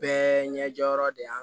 Bɛɛ ɲɛ jɔyɔrɔ de y'a